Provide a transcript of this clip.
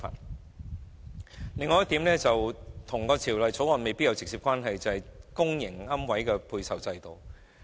此外，還有一點未必與《條例草案》存在直接關係，就是公營龕位的配售制度。